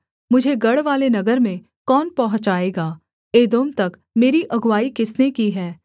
मुझे गढ़वाले नगर में कौन पहुँचाएगा एदोम तक मेरी अगुआई किसने की है